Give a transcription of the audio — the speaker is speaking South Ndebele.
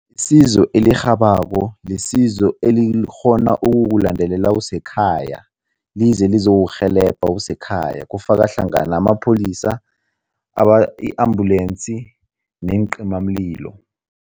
Isizo elirhabako lisizo elikghona ukukulandelela usekhaya lize lizokurhelebha usekhaya, kufaka hlangana amapholisa, i-ambulensi neencimamlilo.